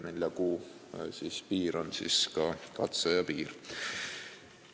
Nelja kuu piir on ka katseaja piir.